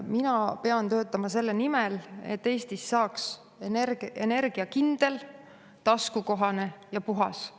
Mina pean töötama selle nimel, et Eestis oleks kindel, taskukohane ja puhas energia.